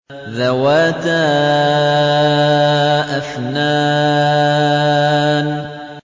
ذَوَاتَا أَفْنَانٍ